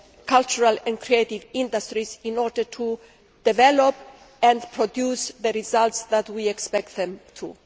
cultural and creative industries in order to develop and produce the results that we expect them to.